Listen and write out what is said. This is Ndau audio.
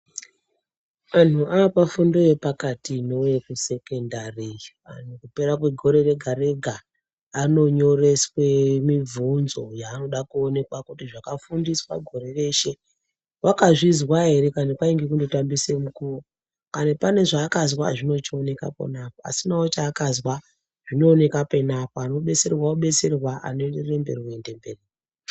Anhu apafundo yepakati inowe yekusekendari iyi, kupera kwegore rega-rega anonyoreswe mibvunzo yaanoda kuonekwa kuti zvakafundiswa gore reshe, wakazvizwa ere kana kwainge kundotambise nguwa. Kana pane zvaakazwa zvine zvichioneka pona, asinawo chaakazwa zvinooneka penapo. Anobetserwa obetserwa, anoenderere mberi oende mberi.